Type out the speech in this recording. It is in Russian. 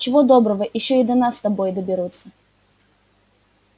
чего доброго ещё и до нас с тобой доберутся